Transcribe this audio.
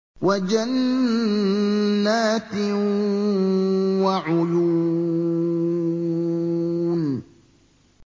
وَجَنَّاتٍ وَعُيُونٍ